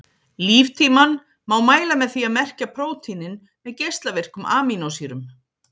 Líftímann má mæla með því að merkja prótínin með geislavirkum amínósýrum.